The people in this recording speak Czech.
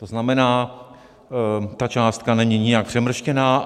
To znamená, ta částka není nijak přemrštěná.